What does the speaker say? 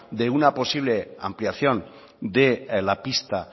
de una posible ampliación de la pista